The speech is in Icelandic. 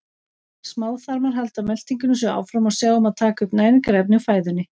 Smáþarmar halda meltingunni svo áfram og sjá um að taka upp næringarefni úr fæðunni.